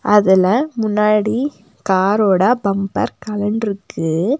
அதுல முன்னாடி கார் ஓட பம்பர் கலண்டுருக்கு.